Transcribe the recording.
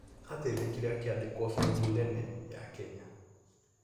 Ateithĩkire akiandĩkwa bengi nene ya Kenya.